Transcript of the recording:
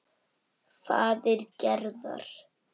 Faðir Gerðar.